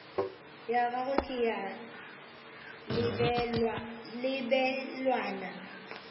ya gagwe ke ya lebelwana